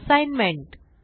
assignment